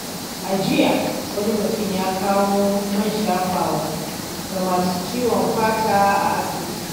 A jiya, wani mutum ya kawo man shafawa ga masu ciwon fata a asibiti.